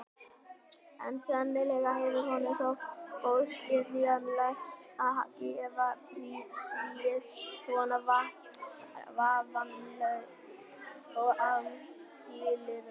En sennilega hefur honum þótt óskynsamlegt að gefa fríið svona vafningalaust og án skilyrða.